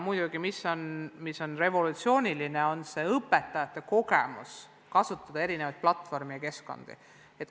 Muidugi on revolutsiooniline õpetajate kogemus kasutada eri platvorme ja keskkondi.